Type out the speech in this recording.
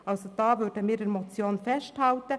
Hier halten wir also an der Motion fest.